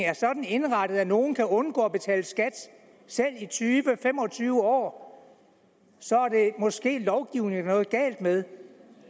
er sådan indrettet at nogle kan undgå at betale skat selv i tyve fem og tyve år så er det måske lovgivningen der er noget galt med